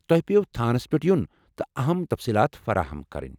تۄہہِ پیٚوٕ تھانس پٮ۪ٹھ یُن تہٕ اہم تفصیٖلات فراہم كرٕنۍ ۔